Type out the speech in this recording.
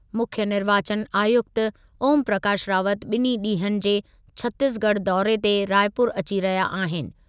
मुख्यु निर्वाचन आयुक्त ओमप्रकाश रावत ॿिनि ॾींहनि जे छतीसगढ़ दौरे ते रायपुर अची रहिया आहिनि।